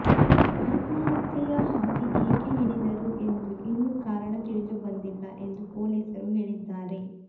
ಆತ್ಮಹತ್ಯೆಯ ಹಾದಿ ಏಕೆ ಹಿಡಿದರು ಎಂದು ಇನ್ನೂ ಕಾರಣ ತಿಳಿದುಬಂದಿಲ್ಲ ಎಂದು ಪೊಲೀಸರು ಹೇಳಿದ್ದಾರೆ